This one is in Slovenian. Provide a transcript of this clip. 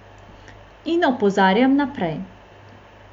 In opozarjam naprej.